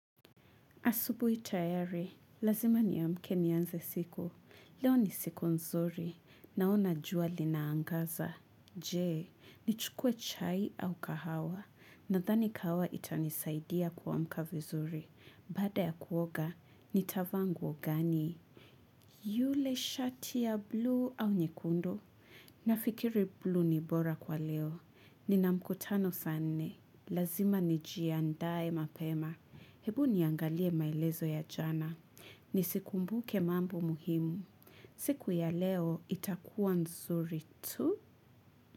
Asubuhi tayari, lazima niamke nianze siku. Leo ni siku nzuri, naona jua linaangaza. Je, nichukue chai au kahawa, nadhani kahawa itanisaidia kuamka vizuri. Baada ya kuoga, nitavaa nguo gani. Yule shati ya bluu au nyekundu? Nafikiri bluu ni bora kwa leo. Nina mkutano saa nne, lazima nijiandaye mapema. Hebu niangalie maelezo ya jana. Nisikumbuke mambo muhimu. Siku ya leo itakuwa nzuri tu.